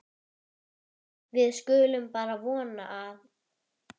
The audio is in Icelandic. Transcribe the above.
Við skulum bara vona að